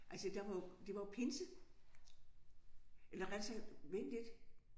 Altså der var jo det var jo pinse. Eller rettere sagt vent lidt